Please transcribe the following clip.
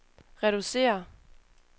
reducere